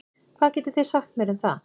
Hvað getið þið sagt mér um það?